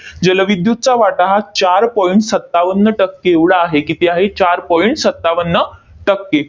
जलविद्युतचा वाटा हा चार point सत्तावन्न टक्के एवढा आहे. किती आहे? चार point सत्तावन्न टक्के.